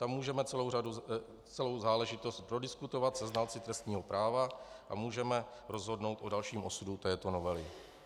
Tam můžeme celou záležitost prodiskutovat se znalci trestního práva a můžeme rozhodnout o dalším osudu této novely.